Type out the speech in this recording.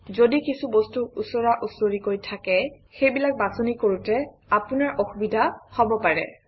যদি কিছু বস্তু ওচৰা ওচৰিকৈ থাকে সেইবিলাক বাছনি কৰোঁতে আপোনাৰ অসুবিধা হব পাৰে